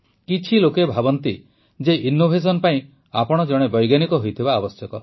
କିଛି ଲୋକ ଭାବନ୍ତି ଯେ ଇନ୍ନୋଭେଶନ୍ ପାଇଁ ଆପଣ ଜଣେ ବୈଜ୍ଞାନିକ ହୋଇଥିବା ଆବଶ୍ୟକ